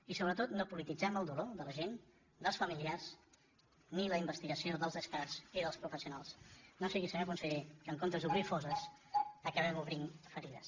i sobretot no polititzem el dolor de la gent dels familiars ni la investigació dels experts i dels professionals que no sigui senyor conseller que en comptes d’obrir fosses acabem obrint ferides